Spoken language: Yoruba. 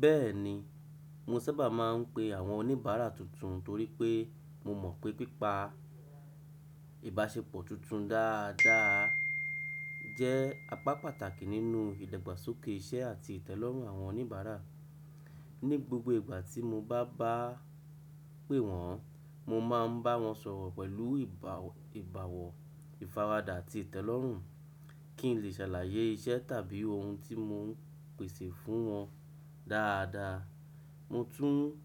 Bẹ́ẹ̀ni, mo sábà máa ń pe àwọn oníbàárà tuntun torí pé mo mọ̀ pé pípa ìbáṣepọ̀ tuntun dáadáa jẹ́ apá pàtàkì nínú ìdàgbàsókè iṣẹ́ àti ìtẹ́lọ́rùn àwọn oníbàárà. Ní gbogbo ìgbà tí mo bá bá a pé wọ́n, mo máa ń bá wọn sọ̀rọ̀ pẹ̀lú ìbàwọ̀ ìfaradà àti ìtẹ́lọ́rùn kí n lè ṣàlàyé iṣẹ́ tàbí ohun tí mo ń pèsè fún wọn dáadáa. Mo tún